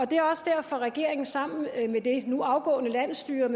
det er også derfor regeringen sammen med det nu afgående landsstyre